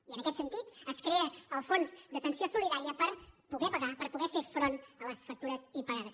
i en aquest sentit es crea el fons d’atenció solidària per poder pagar per poder fer front a les factures impagades